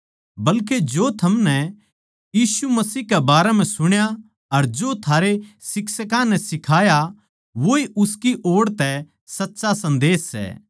बल्के जो थमनै यीशु मसीह के बारें म्ह सुण्या अर जो थारे शिक्षकां नै सिखाया वोए उसकी ओड़ तै सच्चा सन्देस सै